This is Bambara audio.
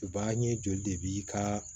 U b'a ye joli de b'i ka